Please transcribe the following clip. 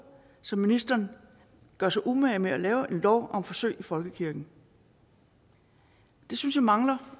så ministeren gør sig umage med at lave en lov om forsøg i folkekirken det synes jeg mangler